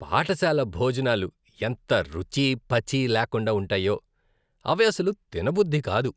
పాఠశాల భోజనాలు ఎంత రుచీ పచీ లేకుండా ఉంటాయో, అవి అసలు తినబుద్ధి కాదు.